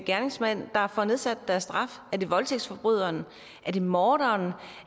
gerningsmænd der får nedsat deres straf er det voldtægtsforbryderen er det morderen